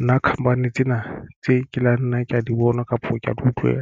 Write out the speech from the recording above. Nna khamphani tsena tse ke la nna kea di bonwa kapa ke di utlwe